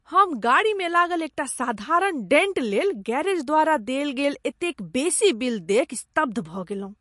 हम गाड़ीमे लागल एकटा साधारण डेंट लेल गैरेज द्वारा देल गेल एतेक बेसी बिल देखि स्तब्ध भऽ गेलहुँ ।